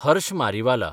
Harsh Mariwala